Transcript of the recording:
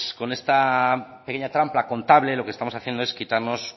con esta pequeña trampa contable lo que estamos haciendo es quitarnos